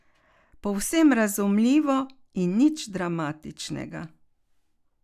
Povsem razumljivo in nič dramatičnega.